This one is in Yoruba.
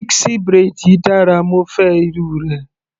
Pixie braid yìí dára, mo fẹ́ irú rẹ̀.